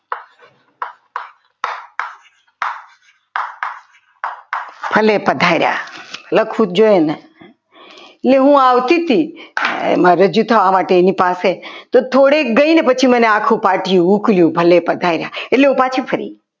અને પધાર્યા ભલે પધાર્યા લખવું જોઈએ તો હું આવતી હતી રજૂ થવા માટે એની પાસે તો થોડે ગઈને પછી મને આખું પાટિયું ઉકલયુ ભલે પધાર્યા એટલે હું પછી ફરી